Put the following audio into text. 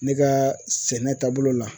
Ne ka sɛnɛ taabolo la